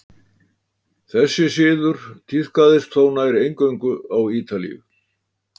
Þessi siður tíðkaðist þó nær eingöngu á Ítalíu.